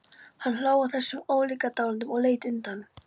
Hann hló að þessum ólíkindalátum og leit undan.